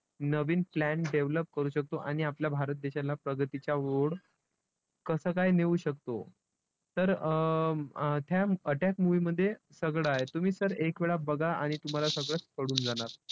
नवीन plan develop करू शकतो आणि आपल्या भारत देशाला प्रगतीच्या ओढ कसं काय नेऊ शकतो? तर अं त्या attack movie मध्ये सगळं आहे. तुम्ही तर एकवेळा बघा आणि तुम्हाला सगळंच कळून जाणार.